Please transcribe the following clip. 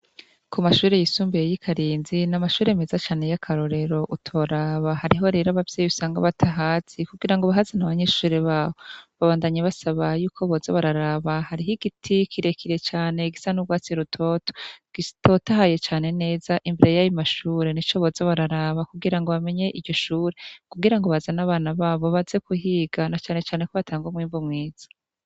ku mashuri yisumbuye y'ikarinzi ni amashuri meza cane y'akarorero utoraba hariho rero abavyeyi usanga batahazi kugira ngo bahaza na abanyeshuri bawo babandanye basaba yuko boza bararaba hariho igiti kirekire cyane gisa n'urwatsi rutoto gitotahaye cane neza imbere yayo mashure nico boza bararaba kugira ngo bamenye iryo shure kugira ngo bazane abana babo baze kuhiga na cane cane ko batanga mwimbu mwiza